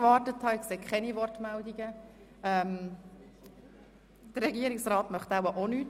Möchte sich der Regierungsrat äussern?